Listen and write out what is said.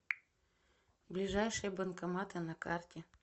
ближайшие банкоматы на карте